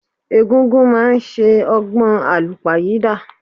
Egungun máà ń ṣe ọgbọn àlúpàyídà.